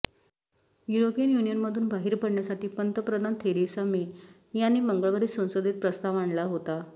European युनियनमधून बाहेर पडण्यासाठी पंतप्रधान थेरेसा मे यांनी मंगळवारी संसदेत प्रस्ताव आणला होता